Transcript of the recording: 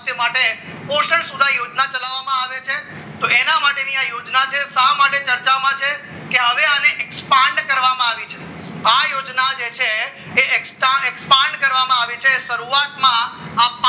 સ્વાસ્થ્ય માટે પોષણ સોડા યોજના ચલાવવામાં આવે છે તો એના માટેની આ યોજના શા માટે ચર્ચામાં છે કે હવે આને એક્સપાંડ કરવામાં આવી છે આ યોજના જે છે તે extra expand કરવામાં આવી છે અને શરૂઆતમાં